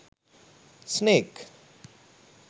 snake